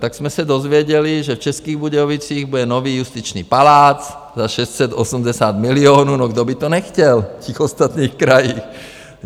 Tak jsme se dozvěděli, že v Českých Budějovicích bude nový justiční palác za 680 milionů - no, kdo by to nechtěl v těch ostatních krajích?